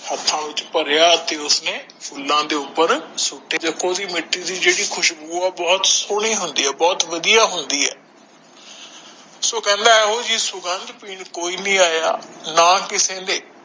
ਹੇਠ ਵਿਚ ਓਹੋ ਫੂਲਾ ਉਤੇ ਸੁਤ ਦਿਤਾ ਦੇਖੋ ਜੋ ਮਿਤੀ ਦੀ ਬਹੁਤ ਸੋਹਣੀ ਹੁੰਦੇ ਆ ਬਹੁਤ ਵੱਧੀਆ ਹੁੰਦਾ ਆ ਦੇਖੋ ਜੀ ਉਹ ਜਿਹੜੇ ਖੁਬੋ ਸੀ ਉਹ ਸੁਗੰਧ ਪਿੰਨ ਕੋਇਨੀ ਆਯਾ